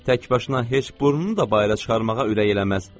Tək başına heç burnunu da bayıra çıxarmağa ürək eləməz.